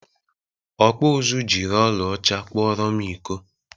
Ọkpụ ụzụ jiri ọla ọcha kpụrọ m iko.